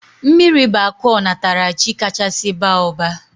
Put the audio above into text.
Mmiri bụ akụ onatarachi kachasị baa ụba